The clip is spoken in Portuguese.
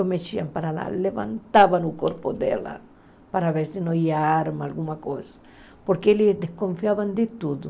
o mexiam para lá, levantavam o corpo dela para ver se não havia arma, alguma coisa, porque eles desconfiavam de tudo.